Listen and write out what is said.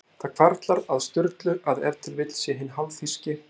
Það hvarflar að Sturlu að ef til vill sé hinn hálfþýski